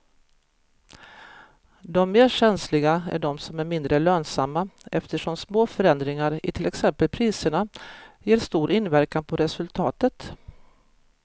De mer känsliga är de som är mindre lönsamma eftersom små förändringar i till exempel priserna ger stor inverkan på resultatet.